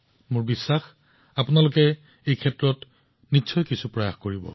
মই নিশ্চিত যে আপোনালোকে এই দিশত কিছু প্ৰয়াস কৰিব